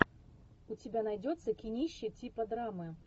у тебя найдется кинище типа драмы